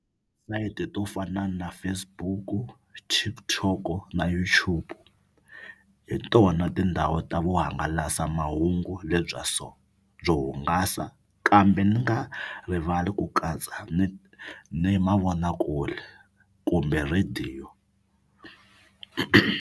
to fana na Facebook, TikTok na YouTube hi tona tindhawu ta vuhangalasamahungu lebya so byo hungasa kambe ni nga rivali ku katsa ni ni mavonakule kumbe rhadiyo.